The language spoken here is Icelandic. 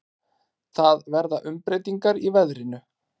Það verða umbreytingar í veðrinu.